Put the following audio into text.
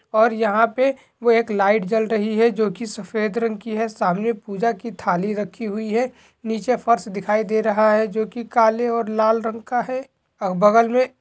और यहाँ पे वो एक लाईट जल रही है जो की सफ़ेद रंग की है समाने पूजा की थाली रखी हुई है निचे फर्श दिखाय दे रहा है जो की काले और लाल रंग का है और बगल में --